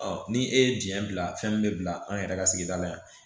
ni e ye diɲɛ bila fɛn min bɛ bila an yɛrɛ ka sigida la yan